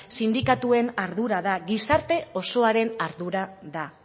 sindikatuen ardura gizarte osoaren ardura da